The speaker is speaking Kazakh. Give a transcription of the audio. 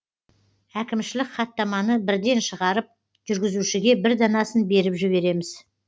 әкімшілік хаттаманы бірден шығарып жүргізушіге бір данасын беріп жібереміз